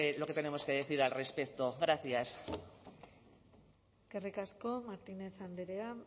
lo que tenemos que decir al respecto gracias eskerrik asko martínez andrea